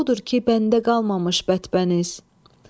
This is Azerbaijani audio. Odur ki, məndə qalmamış bətpəniz.